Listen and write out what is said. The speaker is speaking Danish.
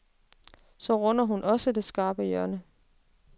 Så runder hun også det skarpe hjørne.